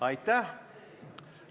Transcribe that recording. Aitäh!